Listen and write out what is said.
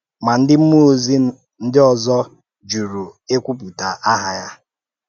Ma, ndị mmụọ́-òzi ndị ọzọ jùrù ikwùpụ̀tà àhá hà.